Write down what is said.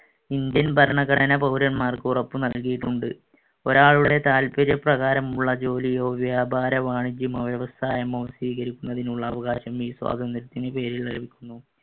Indian ഭരണഘടന പൗരന്മാർക്ക് ഉറപ്പുനൽകിയിട്ടുണ്ട്. ഒരാളുടെ താത്പര്യപ്രകാരമുള്ള ജോലിയോ വ്യാപാരവാണിജ്യമോ വ്യവസായമോ സ്വീകരിക്കുന്നതിനുള്ള അവകാശം ഈ സ്വാതന്ത്ര്യത്തിന്‍റെ പേരിൽ ലഭിക്കുന്നു.